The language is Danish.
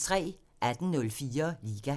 18:04: Liga